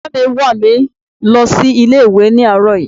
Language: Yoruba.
Bàbá mi wà mi lọ sí ilé ìwé ni àróò yí